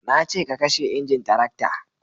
na ce ka kashe injin tarakta